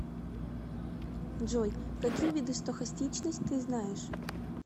джой какие виды стохастичность ты знаешь